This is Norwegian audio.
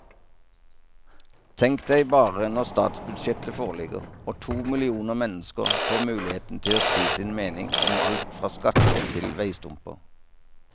Tenk deg bare når statsbudsjettet foreligger og to millioner mennesker får muligheten til å si sin mening om alt fra skatter til veistumper.